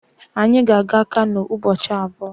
Anyị ga-aga Kano ụbọchị abụọ